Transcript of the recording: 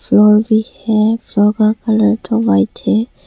Floor भी है floor का कलर तो व्हाइट है।